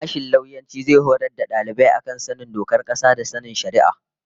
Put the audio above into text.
Sashen lauyanci zai horar da dalibai a kan sanin dokar kasa da sanin shari'a